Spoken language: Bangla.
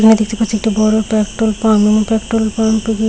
এখানে দেখতে পাচ্ছি একটা বড় পেট্রোল পাম্প এবং পেট্রোল পাম্পে দে --